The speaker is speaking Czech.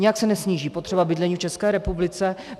Nijak se nesníží potřeba bydlení v České republice.